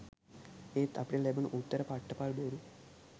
එත් අපිට ලැබුණු උත්තර පට්ට පල් බොරු.